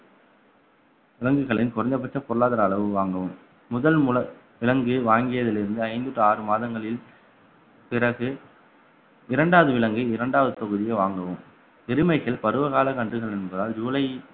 விலங்குகளின் குறைந்தபட்ச பொருளாதார அளவு வாங்கவும் முதல் முல~ விலங்கு வாங்கியதில் இருந்து ஐந்து to ஆறு மாதங்களில் பிறகு இரண்டாவது விலங்கை இரண்டாவது தொகுதியை வாங்கவும் எருமைகள் பருவகால கன்றுகள் என்பதால் ஜூலை